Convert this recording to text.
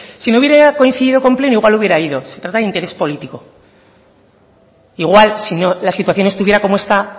si no me hubiera coincidido con pleno igual hubiera ido se trata de interés político igual sino la situación no estuviera como está